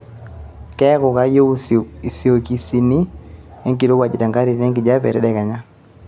keeku kayieu isokisini enkirowuaj nkatitin enkijiape tedekenya